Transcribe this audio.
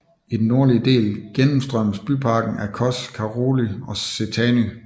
I den nordlige del gennemstrømmes byparken af Kós Karóly Sétány